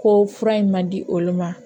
Ko fura in ma di olu ma